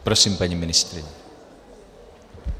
Prosím, paní ministryně.